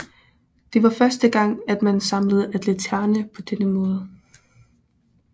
Det var første gang at man samlede atleterne på denne måde